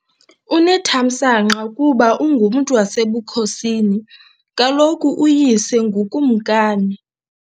Unethamsanqa kuba ungumntu wasebukhosini , kaloku uyise ngukumkani.